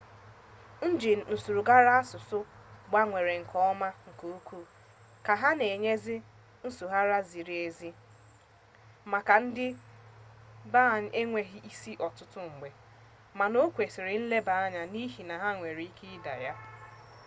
njin nsụgharị asụsụ agbanweela nke ọma nke ukwu ka ha na enyezi nsụgharị ziri ezi makwa ndị bna enweghị isi ọtụtụ mgbe mana okwesiri nleba anya n'ihi na ha nwere ike ịda ya